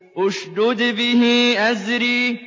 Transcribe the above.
اشْدُدْ بِهِ أَزْرِي